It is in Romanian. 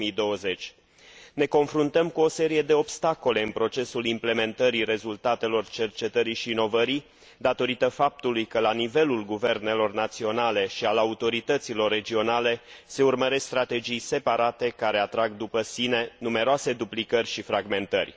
2020. Ne confruntăm cu o serie de obstacole în procesul implementării rezultatelor cercetării și inovării datorită faptului că la nivelul guvernelor naționale și al autorităților regionale se urmăresc strategii separate, care atrag după sine numeroase duplicări și fragmentări.